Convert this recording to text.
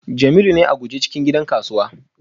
Jamiu ne a guje cikin gidan kasuwa